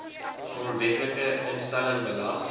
grondwetlike instelling belas